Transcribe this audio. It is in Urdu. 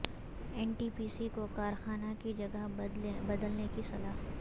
این ٹی پی سی کو کارخانہ کی جگہ بد لنے کی صلاح